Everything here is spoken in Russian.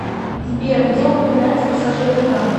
сбер где упоминается посажение на кол